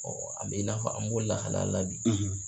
an bɛ i n'a fɔ an b'o lahala le la bi.